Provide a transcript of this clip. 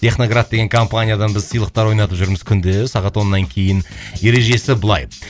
техноград деген компаниядан біз сыйлықтар ойнатып жүрміз күнде сағат оннан кейін ережесі былай